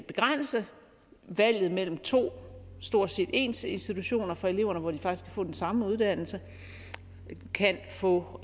begrænse valget mellem to stort set ens institutioner for eleverne hvor de faktisk kan få den samme uddannelse kan få